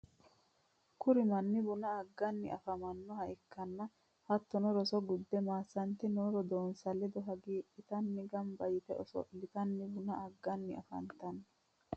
kuri manni buna agani afamannoha ikkanna hattonni roso gudde maasante noo roodoonsa ledo hagiidhitanni gamba yite oso'litanni buna agganni afantanno.